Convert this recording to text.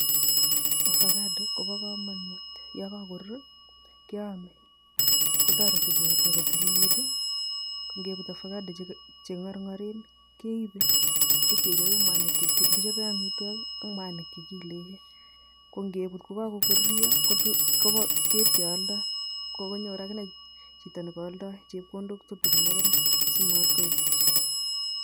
Ovacado kobo kamanut, ye kakoruur keame kotoreti borto ko tililit. Ngeput ovacado che ngarngaren keipe ipkechope mwanik chekichope amitwokik ak mwanik che kiilekee. Ko ngeput kokaruryo ipkealdoi, kokanyor akine chito nekaaldoi chepkondok tutigin akine simatkoek puuch.